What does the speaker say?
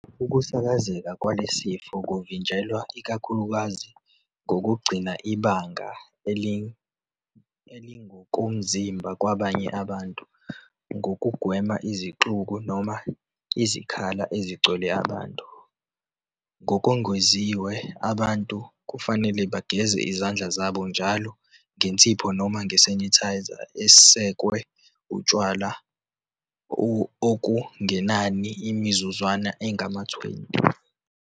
Ukusakazeka kwalesi sifo kuvinjelwa ikakhulukazi ngokugcina ibanga elingokomzimba kwabanye abantu nokugwema izixuku noma izikhala ezigcwele abantu. Ngokwengeziwe abantu kufanele bageze izandla zabo njalo ngensipho noma nge-sanitizer esekwe utshwala okungenani imizuzwana engama-20.